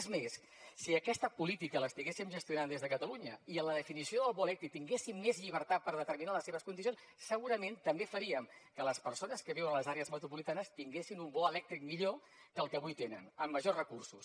és més si aquesta política l’estiguéssim gestionant des de catalunya i en la definició del bo elèctric tinguéssim més llibertat per determinar les seves condicions segurament també faríem que les persones que viuen a les àrees metropolitanes tinguessin un bo elèctric millor que el que avui tenen amb majors recursos